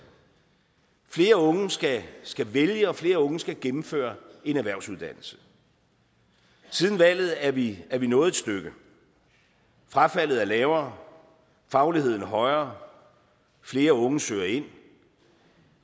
flere unge skal skal vælge og flere unge skal gennemføre en erhvervsuddannelse siden valget er vi er vi nået et stykke frafaldet er lavere fagligheden er højere flere unge søger ind